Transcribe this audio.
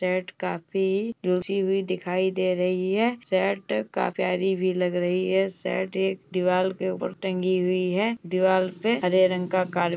Shirt काफी रुझी हुई दिखाई दिखाई दे रही है। शर्ट काफी प्यारी भी लग रही है। शर्ट एक दीवाल के ऊपर टंगी हुई है दीवाल पे हरे रंग का कार --